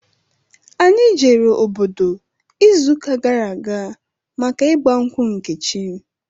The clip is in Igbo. Anyị jere obodo izu ụka gara aga maka ịgba nkwụ Nkechi